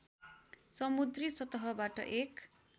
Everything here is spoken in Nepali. समुद्री सतहबाट एक